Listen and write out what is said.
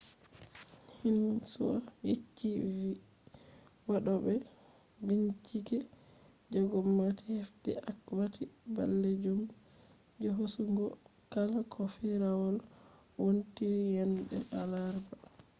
xinhua yecci vi wadobe binchike je gomnati hefti akwati balejum je hosugo kala ko firawol wontiri yande alarba